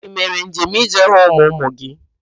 Ị mere njem ịje hụ ụmụ ụmụ gị?